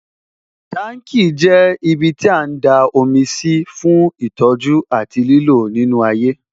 Tanki jẹ́ ibiti a ń da omi sí fún ìtọ́jú àti lílò nínú ayé